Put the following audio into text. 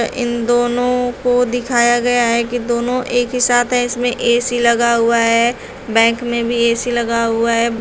इन दोनों को दिखाया गया है कि दोनों एक ही साथ है इसमें ऐ_सी लगा हुआ है बैंक में भी ऐ_सी लगा हुआ है।